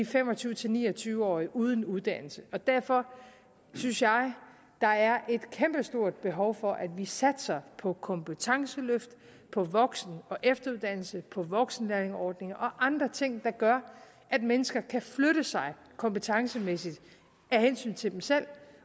fem og tyve til ni og tyve årige uden uddannelse og derfor synes jeg der er et kæmpestort behov for at vi satser på kompetenceløft på voksen og efteruddannelse på voksenlærlingeordninger og andre ting der gør at mennesker kan flytte sig kompetencemæssigt af hensyn til dem selv